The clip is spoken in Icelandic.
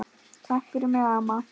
Takk fyrir mig amma.